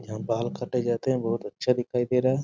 यहाँ बाल काटे जाइत हैं बहुत अच्छा दिखाई दे रहा है।